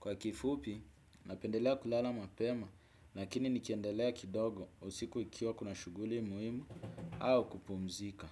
Kwa kifupi, napendelea kulala mapema, nakini nikendelea kidogo usiku ikiwa kuna shuguli muimu au kupumzika.